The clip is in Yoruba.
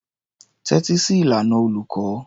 Tẹ́tí sí ìlànà olùkọ́.